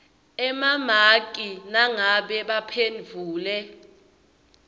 emamaki nangabe baphendvule